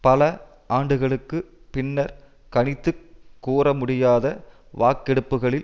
பல ஆண்டுகளுக்கு பின்னர் கணித்து கூறமுடியாத வாக்கெடுப்புக்களில்